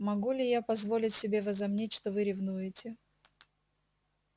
могу ли я позволить себе возомнить что вы ревнуете